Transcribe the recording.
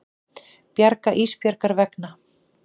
Bara Ísbjargar vegna.